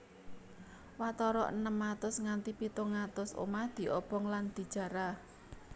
Watara enem atus nganti pitung atus omah diobong lan dijarah